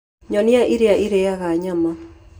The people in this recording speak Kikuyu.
Nyoni ĩrĩa ĩrĩĩaga nyama.